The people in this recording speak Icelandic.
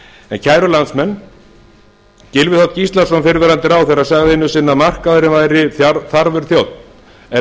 viðskipta kæru landsmenn gylfi þ gíslason fyrrverandi ráðherra sagði einu sinni að markaðurinn væri þarfur þjónn en